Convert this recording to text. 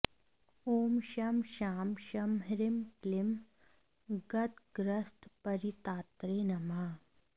ॐ शं शां षं ह्रीं क्लीं गदग्रस्तपरित्रात्रे नमः